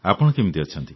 ଆପଣ କେମିତି ଅଛନ୍ତି